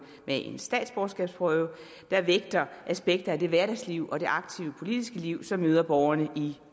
med en statsborgerskabsprøve der vægter aspekter i det hverdagsliv og det aktive politiske liv som møder borgerne i